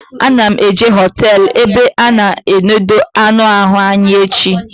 A ga m eje n'hotelu ebe a na enode anụ ahụ anya echi